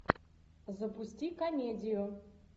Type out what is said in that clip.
запусти комедию